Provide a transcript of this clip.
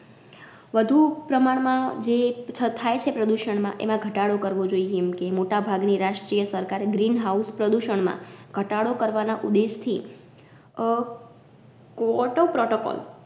વધુ પ્રમાણ માં જે થ થાયછે પ્રદૂષણમાં એમા ઘટાડો કરવો જોઈ એમકે મોટા ભાગની રાષ્ટ્રીય સરકારે Green house પ્રદૂષણ માં ઘટાડો કરવાના ઉદ્દેશ થી અ Kyoto Protocol